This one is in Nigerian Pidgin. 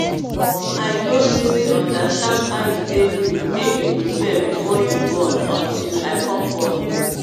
i no really understand how e take good make you prepare before you born until i come born.